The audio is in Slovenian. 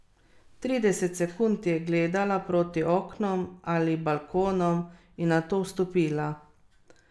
Trideset sekund je gledala proti oknom ali balkonom in nato vstopila.